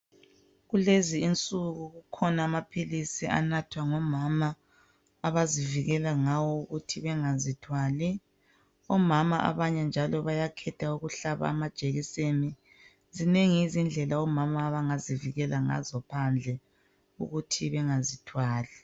Kulezinsuku kukhona amaphilisi asetshenziswa ngomama ukunatha ukuze bazivekele ekuzithwaleni njalo abanye bayakhetha ukuhlatshwa amajekiseni ezinengi izindlela omama abangazivekela ngayo ukuze bangazithwali.